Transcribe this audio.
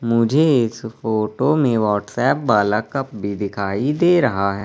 मुझे इस फोटो में व्हाट्सएप वाला कप भी दिखाई दे रहा है।